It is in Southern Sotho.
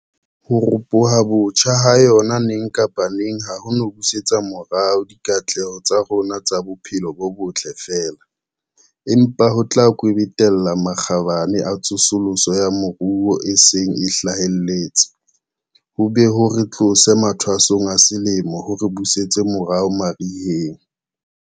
Ho ropoha botjha ha yona neng kapa neng ha ho no busetsa morao dikatleho tsa rona tsa bophelo bo botle feela, empa ho tla kwebetella makgabane a tsosoloso ya moruo a seng a hlahelletse, ho be ho re tlose mathwasong a selemo ho re busetse morao mariheng.